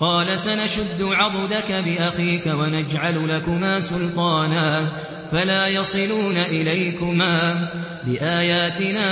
قَالَ سَنَشُدُّ عَضُدَكَ بِأَخِيكَ وَنَجْعَلُ لَكُمَا سُلْطَانًا فَلَا يَصِلُونَ إِلَيْكُمَا ۚ بِآيَاتِنَا